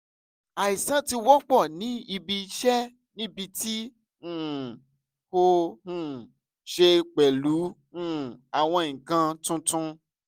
aisan ti wọpọ ni ibi iṣẹ nibiti um o um ṣe pẹlu um awọn nkan tuntun